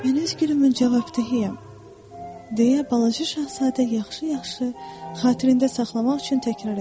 Mən öz gülümün cavabdehəm, deyə Balaca Şahzadə yaxşı-yaxşı xatirində saxlamaq üçün təkrar etdi.